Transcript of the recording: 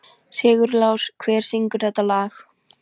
Sigurlás, hver syngur þetta lag?